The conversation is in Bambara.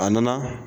A nana